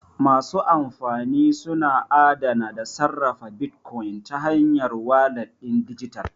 Masu amfani suna adana da sarrafa bitcoins ta hanyar walat ɗin dijital.